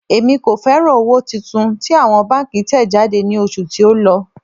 Èmi kò fẹ́ràn owó tuntun tí àwọn báńkì tẹ̀ jáde ní oṣù tí ó lọ.